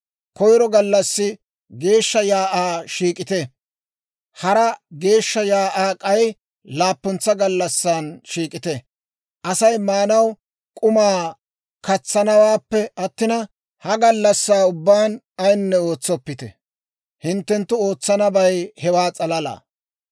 Koyro gallassi geeshsha shiik'uwaa shiik'ite; hara geeshsha shiik'uwaa k'ay laappuntsa gallassan shiik'ite; Asay maanaw k'umaa katsanawaappe attina, ha gallassaa ubbaan ayinne ootsoppite; hinttenttu ootsanabay hewaa s'alala.